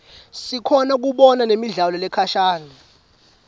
sikhona kubona nemidlalo lekhashane